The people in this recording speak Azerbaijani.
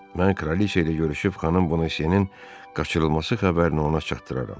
Mən kraliça ilə görüşüb xanım Bonasyenin qaçırılması xəbərini ona çatdıraram.